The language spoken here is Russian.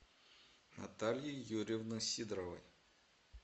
натальи юрьевны сидоровой